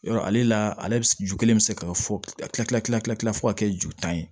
Yɔrɔ ale la ale bi ju kelen bɛ se ka fɔ tila tila tila tila fo ka kɛ ju tan ye